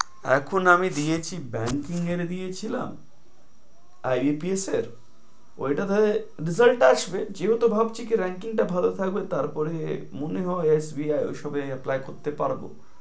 এখন আমি দিয়েচ্ছি banking এর দিয়েছিলাম, IPS এর, ঐটা ধরে result আসবে। যেহেতু ভাবছি কি ranking টা ধরে থাকবে তারপরে মনে হয় SBI ঐসবে apply করতে পারবো।